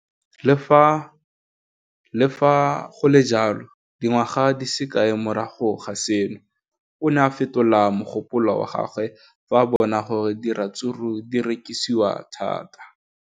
Le fa go le jalo, dingwaga di se kae fela morago ga seno, o ne a fetola mogopolo wa gagwe fa a bona gore diratsuru di rekisiwa thata.